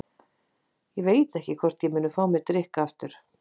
Ég veit ekki hvort ég muni fá mér drykk aftur.